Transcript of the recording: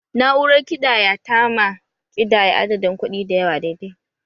Na'urar ƙidaya tama ƙidaya adadin kuɗi dayawa daidai